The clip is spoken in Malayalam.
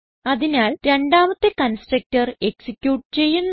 അതിനാൽ രണ്ടാമത്തെ കൺസ്ട്രക്ടർ എക്സിക്യൂട്ട് ചെയ്യുന്നു